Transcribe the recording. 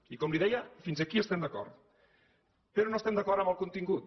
i com li deia fins aquí estem d’acord però no estem d’acord amb el contingut